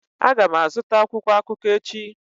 Aga m azụta akwụkwọ akụkọ ahụ echi.